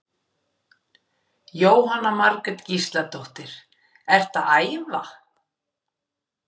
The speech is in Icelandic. Jóhanna Margrét Gísladóttir: Ertu að æfa?